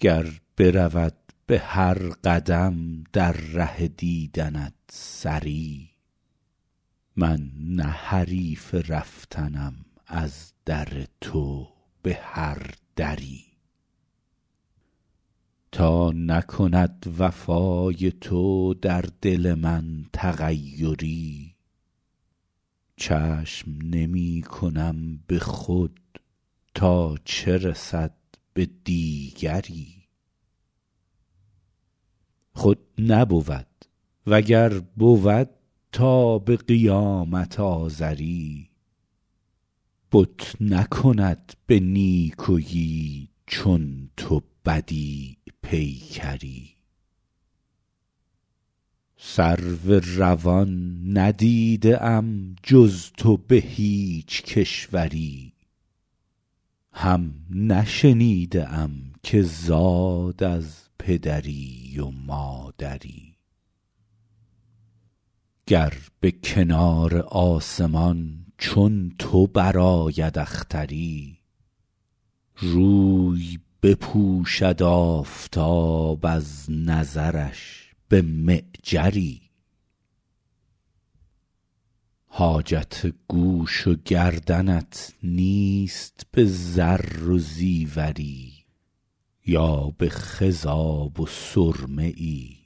گر برود به هر قدم در ره دیدنت سری من نه حریف رفتنم از در تو به هر دری تا نکند وفای تو در دل من تغیری چشم نمی کنم به خود تا چه رسد به دیگری خود نبود و گر بود تا به قیامت آزری بت نکند به نیکویی چون تو بدیع پیکری سرو روان ندیده ام جز تو به هیچ کشوری هم نشنیده ام که زاد از پدری و مادری گر به کنار آسمان چون تو برآید اختری روی بپوشد آفتاب از نظرش به معجری حاجت گوش و گردنت نیست به زر و زیوری یا به خضاب و سرمه ای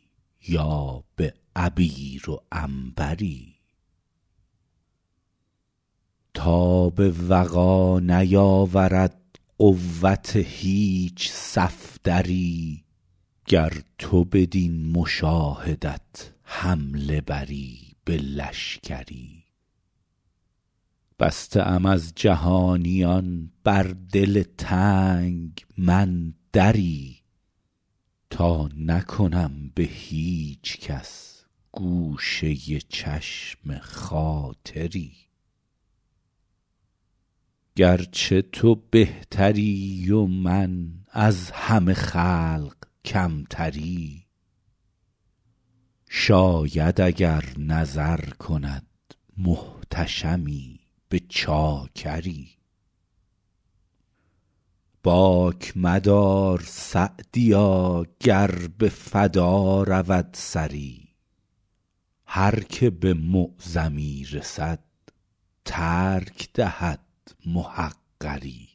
یا به عبیر و عنبری تاب وغا نیاورد قوت هیچ صفدری گر تو بدین مشاهدت حمله بری به لشکری بسته ام از جهانیان بر دل تنگ من دری تا نکنم به هیچ کس گوشه چشم خاطری گرچه تو بهتری و من از همه خلق کمتری شاید اگر نظر کند محتشمی به چاکری باک مدار سعدیا گر به فدا رود سری هر که به معظمی رسد ترک دهد محقری